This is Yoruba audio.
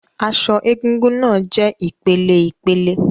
Aṣọ egúngún náà jẹ ìpeleìpele